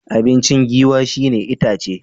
Abinci Giwa shi ne itace.